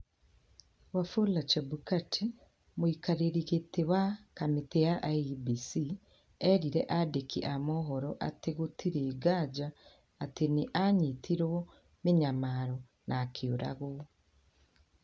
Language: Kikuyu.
Wafula Chebukati, mũikarĩri giti wa kamĩtĩ ya IEBC, eerire andiki a mohoro atĩ "gũtirĩ nganja atĩ nĩ anyitirũo mĩnyamaro na akĩũragwo".